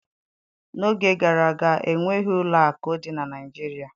N'oge gara aga, enweghị ụlọ akụ dị na Naịjirịa